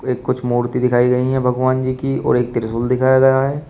ये कुछ मूर्ति दिखाई गई है भगवान जी की और एक त्रिशूल दिखाया गया है।